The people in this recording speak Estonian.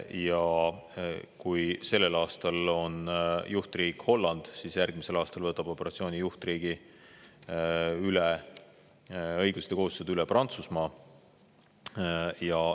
Ja kui sellel aastal on juhtriik Holland, siis järgmisel aastal võtab operatsiooni juhtriigi õigused ja kohustused üle Prantsusmaa.